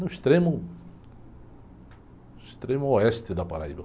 No extremo, extremo oeste da.